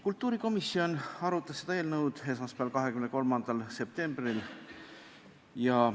Kultuurikomisjon arutas seda eelnõu esmaspäeval, 23. septembril.